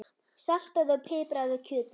Saltaðu og pipraðu kjötið.